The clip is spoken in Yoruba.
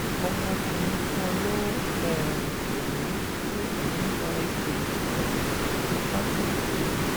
ọmọkùnrin kan ló um pè mí pé òun gba ìpè um kan láti ìpẹrù